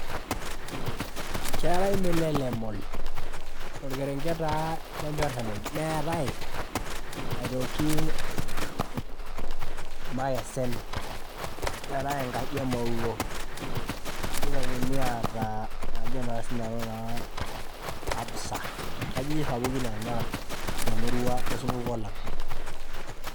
Keetae Milele mall torkerenket lenyoremuny neetae aitoki irmokesen neetae enkaji emowuo, nitokini aata kajo na sinanu aa absa nkajijik sapukin nona temurua osupuko lang.